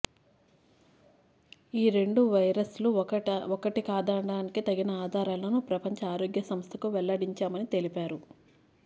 ఈ రెండు వైరస్లు ఒకటి కాదడానికి తగిన ఆధారాలను ప్రపంచ ఆరోగ్య సంస్థకు వెల్లడించామని తెలిపారు